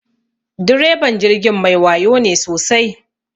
Direban jirgin mai wayo ne sosai.